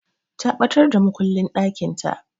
Ta ɓatar da makullin ɗakinta.